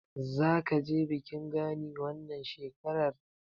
Zaka je bikin Gani wannan shekarar?